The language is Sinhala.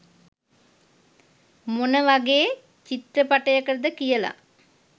මොනවගේ චිත්‍රපටයකටද කියල